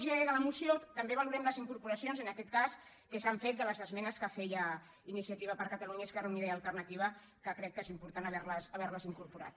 g de la moció també valorem les incorporacions en aquest cas que s’han fet de les esmenes que feia iniciativa per catalunya esquerra unida i alternativa que crec que és important haverles incorporat